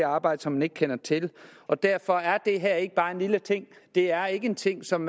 arbejde som man ikke kender til og derfor er det her ikke bare en lille ting det er ikke en ting som